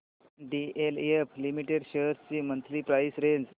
DLF limited shares ची monthly price range